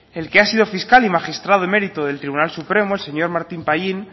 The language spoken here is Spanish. el que ha sido fiscal y magistrado emérito del tribunal supremo el señor martín pallín